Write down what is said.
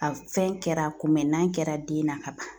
A fɛn kɛra kunbɛnnan kɛra den na ka ban.